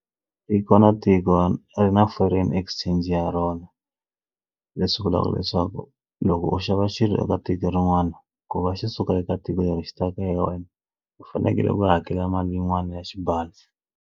I ku va na tiko ri na foreign exchange ya rona leswi vulaka leswaku loko u xava xilo eka tiko rin'wana ku va xi suka eka tiko leri xi ta ka wena u fanekele u hakela mali yin'wani ya xipano.